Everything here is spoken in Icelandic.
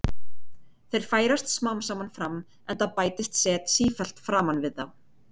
Þeir færast smám saman fram, enda bætist set sífellt framan við þá.